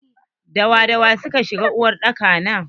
Da wa da wa suka shiga cikin uwar daka na?